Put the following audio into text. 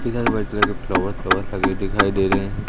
Flowers flowers लगे हुए दिखाई दे रहे हैं।